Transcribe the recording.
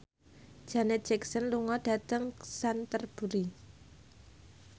Janet Jackson lunga dhateng Canterbury